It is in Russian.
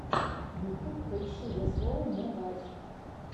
ютуб поищи зе слоу мо гайз